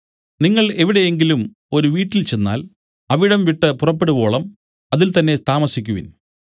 നിങ്ങൾ എവിടെയെങ്കിലും ഒരു വീട്ടിൽ ചെന്നാൽ അവിടം വിട്ടു പുറപ്പെടുവോളം അതിൽ തന്നേ താമസിക്കുവിൻ